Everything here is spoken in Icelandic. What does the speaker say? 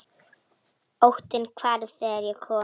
Óttinn hvarf þegar ég kom.